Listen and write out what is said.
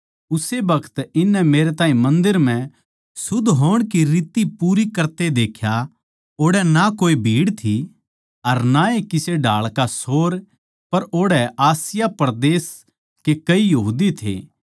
उस्से बखत इननै मेरै ताहीं मन्दर म्ह शुद्ध होण की रीति पूरी करते देख्या ओड़ै ना कोए भीड़ थी अर ना ए किसे ढाळ का शोर पर ओड़ै आसिया परदेस के कई यहूदी थे